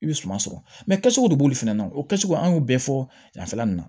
I bɛ suman sɔrɔ kɛcogo de b'olu fɛnɛ na o kɛcogo an y'o bɛɛ fɔ yan fan fɛla nin na